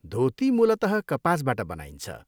धोती मूलतः कपासबाट बनाइन्छ।